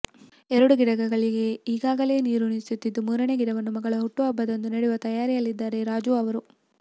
ಎರಡು ಗಿಡಗಳಿಗೆ ಈಗಾಗಲೇ ನೀರುಣಿಸುತ್ತಿದ್ದು ಮೂರನೇ ಗಿಡವನ್ನು ಮಗಳ ಹುಟ್ಟುಹಬ್ಬದಂದು ನೆಡುವ ತಯಾರಿಯಲ್ಲಿದ್ದಾರೆ ರಾಜೂ ಅವರು